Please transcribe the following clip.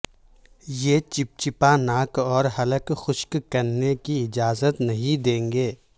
یہ چپچپا ناک اور حلق خشک کرنے کی اجازت نہیں دیں گے